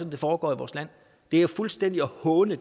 det foregår i vores land det er jo fuldstændig at håne